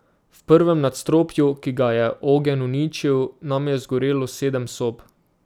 V prvem nadstropju, ki ga je ogenj uničil, nam je zgorelo sedem sob.